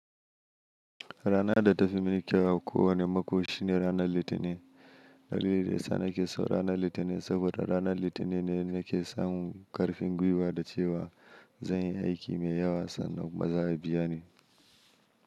Rana da ta fi mun kyau a kowane mako shine ranar Litinin. Dalilin da ya sa nake so ranar Litinin saboda ranar Litinin ne nake samun ƙarfin gwiwa da cewa zan yi aiki mai yawa sannan kuma za'abiya ni.